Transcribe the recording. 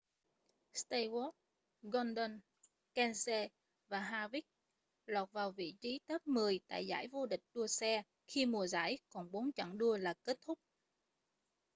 stewart gordon kenseth và harvick lọt vào vị trí top mười tại giải vô địch đua xe khi mùa giải còn bốn chặng đua là kết thúc